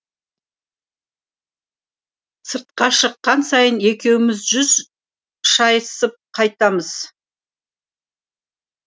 сыртқа шыққан сайын екеуміз жүз шайысып қайтамыз